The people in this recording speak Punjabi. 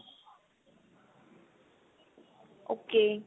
ok